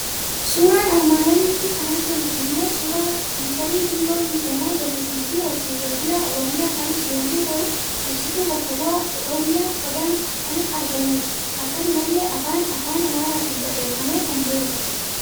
Suuraa armaan olitti kan argamu immoo suuraa fiicharii biiroo misooma jallisiiifi horsiisee bulaa Oromiyaa kan ibsu yommuu ta'u, ibsitu bakka bu'aa oromiyaa Odaan akan argamudha. Akkanumallee afaan afaan amaaratin barreeffamee kan jirudha.